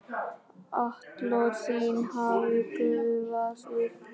Atlot þín hafa gufað upp.